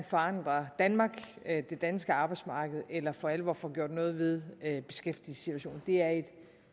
forandrer danmark det danske arbejdsmarked eller for alvor får gjort noget ved ved beskæftigelsessituationen det er et